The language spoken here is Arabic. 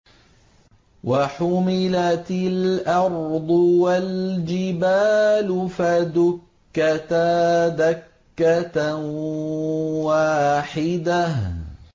وَحُمِلَتِ الْأَرْضُ وَالْجِبَالُ فَدُكَّتَا دَكَّةً وَاحِدَةً